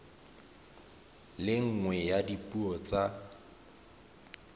le nngwe ya dipuo tsa